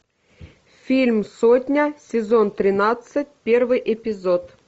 фильм сотня сезон тринадцать первый эпизод